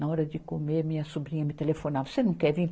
Na hora de comer, minha sobrinha me telefonava, você não quer vir?